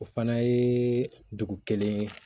O fana ye dugu kelen